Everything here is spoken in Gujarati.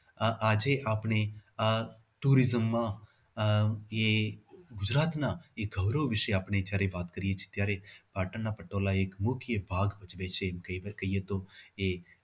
આ આજે આપણે આ tourism માં આહ એ ગુજરાતના ગૌરવ વિશે આપણે જયારે વાત કરીએ છીએ ત્યારે પાટણના પટોળા એક મુખ્ય ભાગ ભજવે છે એમ કહીએ તો એ